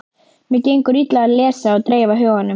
Mér gengur illa að lesa og dreifa huganum.